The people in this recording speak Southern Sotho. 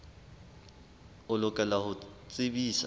o lokela ho o tsebisa